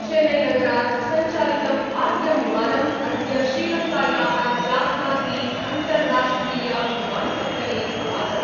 चेन्नैनगरात् संचालितम् आद्यं विमानम् अद्य श्रीलंकायाः जाफना ति अन्तर्राष्ट्रिय विमानपत्तने अवातरत्।